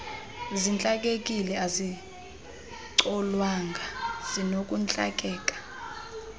zintlakekile azicolwanga zinokuntlakeka